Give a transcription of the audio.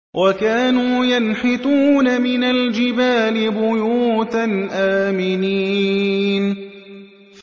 وَكَانُوا يَنْحِتُونَ مِنَ الْجِبَالِ بُيُوتًا آمِنِينَ